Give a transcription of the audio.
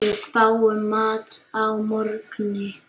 Við fáum mat að morgni.